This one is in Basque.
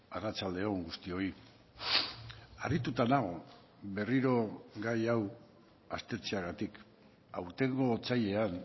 arratsalde on guztioi harrituta nago berriro gai hau aztertzeagatik aurtengo otsailean